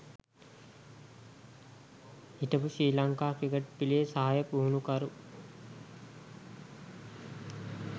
හිටපු ශ්‍රී ලංකා ක්‍රිකට් පි‍ලේ සහාය පුහුණුකරු